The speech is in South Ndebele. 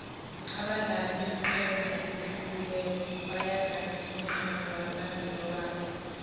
abadlali beenqhema ezihlukileko bayadana iinqhema zabo nazilobako